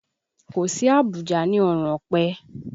Kò sí àbùjá ní ọrùn ọ̀pẹ